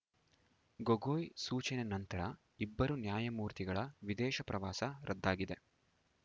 ಗೊಗೋಯ್‌ ಸೂಚನೆ ನಂತರ ಇಬ್ಬರು ನ್ಯಾಯಮೂರ್ತಿಗಳ ವಿದೇಶ ಪ್ರವಾಸ ರದ್ದಾಗಿದೆ